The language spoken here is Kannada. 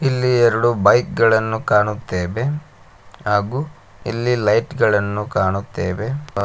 ಇಲ್ಲಿ ಎರಡು ಬೈಕ್ ಗಳನ್ನು ಕಾಣುತ್ತೇವೆ ಹಾಗೂ ಇಲ್ಲಿ ಲೈಟ್ಗ ಳನ್ನು ಕಾಣುತ್ತೇವೆ ಮ--